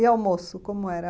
E almoço, como era?